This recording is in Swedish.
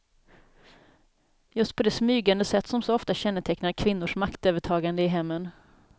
Just på det smygande sätt som så ofta kännetecknar kvinnors maktövertagande i hemmen.